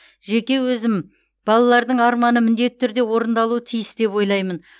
жеке өзім балалардың арманы міндетті түрде орындалуы тиіс деп ойлаймын